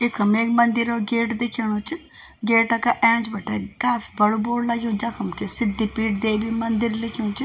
इखम ऐक मंदिरो गेट दिख्योणु च गेटा का ऐंच बटै काफी बडू बोर्ड लग्यु जखम कि सिद्धि पीठ देवी मंदिर लिख्यू च।